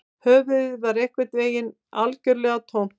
Höfuðið var einhvern veginn algjörlega tómt